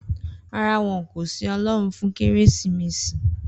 Rárá, won kò sin Ọlọ́run fún Kérésìmesì